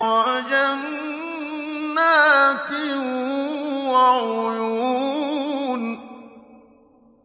وَجَنَّاتٍ وَعُيُونٍ